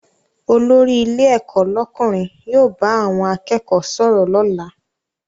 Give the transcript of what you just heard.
Olórí ilé ẹ̀kọ́ lọ́kùnrin yóò bá àwọn akẹ́kọ̀ọ́ sọ̀rọ̀ lọ́la